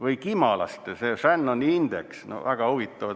Või kimalaste Shannoni indeks, no väga huvitav.